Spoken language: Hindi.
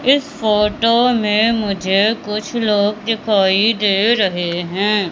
इस फोटो में मुझे कुछ लोग दिखाई दे रहे है।